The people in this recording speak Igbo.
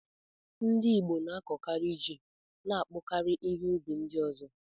Ndị Igbo na-akọkari ji na akpụ karịa ihe ụbi ndi ọzọ.